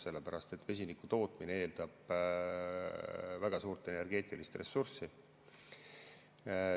Sellepärast et vesiniku tootmine eeldab väga suurt energeetilist ressurssi.